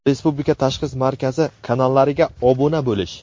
Respublika tashxis markazi kanallariga obuna bo‘lish:.